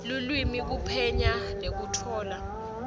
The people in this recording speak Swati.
lulwimi kuphenya nekutfola